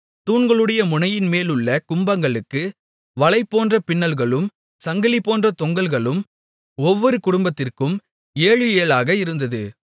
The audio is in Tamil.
தூண்களுடைய முனையின்மேலுள்ள கும்பங்களுக்கு வலைபோன்ற பின்னல்களும் சங்கிலிபோன்ற தொங்கல்களும் ஒவ்வொரு கும்பத்திற்கும் ஏழு ஏழாக இருந்தது